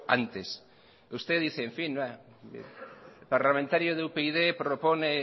antes usted dice en fin parlamentario de upyd propone